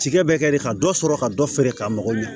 Tigɛ bɛ kɛ de ka dɔ sɔrɔ ka dɔ feere ka mago ɲɛ